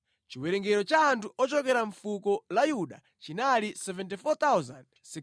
Chiwerengero cha anthu ochokera mʼfuko la Yuda chinali 74, 600.